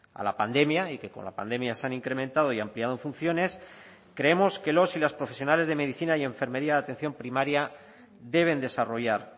a la pandemia y que con la pandemia se han incrementado y ampliado funciones creemos que los y las profesionales de medicina y enfermería de atención primaria deben desarrollar